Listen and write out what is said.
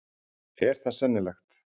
Er það sennilegt?